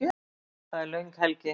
Það er löng helgi.